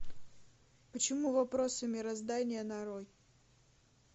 почему вопросы мироздания нарой